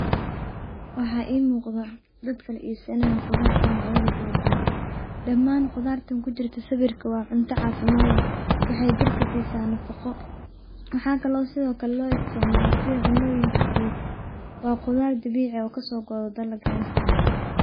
Waxa imuqda dad kala insanayo qudarta kaladuwan, damaan qudarta kujirto sawirkan wa cunta cafimad leeh wexey jirka sisa nafaqo waxa kalo loisticmala sida cunoyinka wa qudar dabici ah oo kasogoodo dalagena.